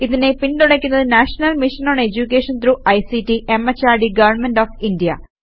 ഇതിനെ പിന്തുണക്കുന്നത് national mission on education through ICT MHRD government of India